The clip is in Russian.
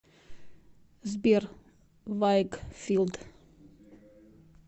сбер вайгфилд